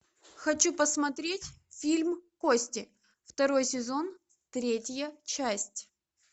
хочу посмотреть фильм кости второй сезон третья часть